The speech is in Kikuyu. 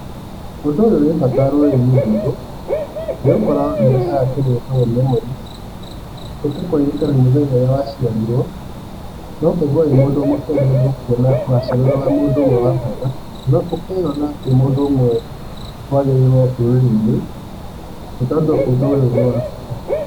Ũndũ ũyũ wĩ bata rũrĩrĩ-inĩ rwitũ, nĩgũkorũo nĩrũrehaga kĩndũ gĩtagũo memories, nĩtakũririkana mũthenya ũrĩa waciarirũo, na ũkaigua wĩ mũndũ mũkenereru nĩkuona waciarirwo wĩ wa mũndũ ũmwe wa bata, nĩguo gũkĩyona wĩ mũndũ ũmwe wagĩrĩirũo rũrĩrĩ-inĩ, nĩ tondũ ũndũ ũyũ nĩ wa bata.